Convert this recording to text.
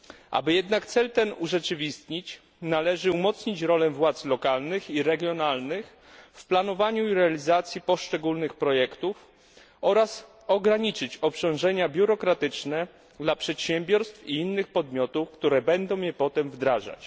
Aby jednak cel ten urzeczywistnić, należy umocnić rolę władz lokalnych i regionalnych w planowaniu i realizacji poszczególnych projektów oraz ograniczyć obciążenia biurokratyczne dla przedsiębiorstw i innych podmiotów, które będą je potem wdrażać.